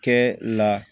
Kɛ la